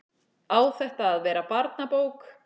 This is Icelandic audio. Á þetta að verða barnabók?